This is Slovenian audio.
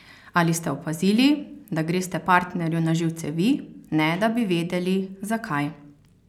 Ali ste opazili, da greste partnerju na živce vi, ne da bi vedeli, zakaj?